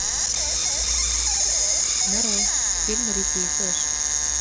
нарой фильм рики и флэш